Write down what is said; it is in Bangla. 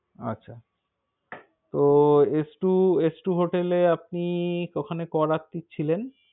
আচ্ছা।